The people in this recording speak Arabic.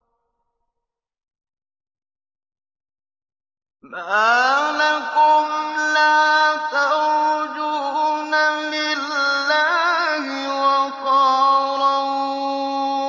مَّا لَكُمْ لَا تَرْجُونَ لِلَّهِ وَقَارًا